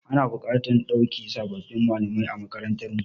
Ana buƙatar a dauki sababbin malamai a makarantarmu.